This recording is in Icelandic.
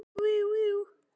Gísli, áttu tyggjó?